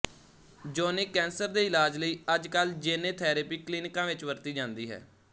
ਯੋਨਿਕ cancer ਦੇ ਇਲਾਜ ਲਈ ਅੱਜ ਕੱਲ੍ਹ ਜੇਨੇ ਥੇਰੈਪੀ ਕਲੀਨਿਕਾਂ ਵਿੱਚ ਵਰਤੀ ਜਾਂਦੀ ਹੈ